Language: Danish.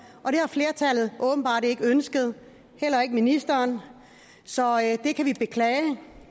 og det har flertallet åbenbart ikke ønsket heller ikke ministeren så det kan vi beklage